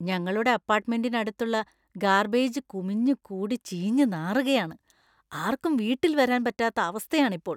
ഞങ്ങളുടെ അപ്പാർട്ട്മെന്റിന് അടുത്തുള്ള ഗാർബേജ് കുമിഞ്ഞ് കൂടി ചീഞ്ഞ് നാറുകയാണ്. ആർക്കും വീട്ടിൽ വരാൻ പറ്റാത്ത അവസ്ഥയാണ് ഇപ്പോൾ.